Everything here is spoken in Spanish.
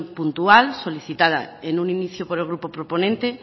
puntual solicitada en un inicio por el grupo proponente